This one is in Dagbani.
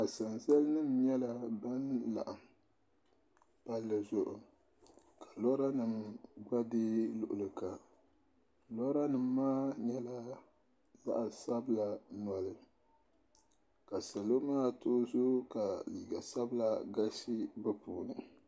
Asanza nima nyɛla ban laɣim palli zuɣu ka loori nima gba be luɣuli kam lora nima maa nyɛla zaɣa sabla noli ka salo maa too zoo ka liiga sabla galisi bɛ puuni.